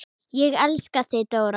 Ég elska þig Dóra.